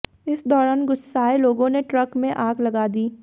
इस दौरान गुस्साए लोगों ने ट्रक में आग लगा दी